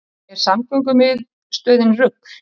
Er samgöngumiðstöðin rugl